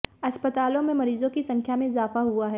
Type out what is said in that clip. अस्पतालों में मरीजों की संख्या में इजाफा हुआ है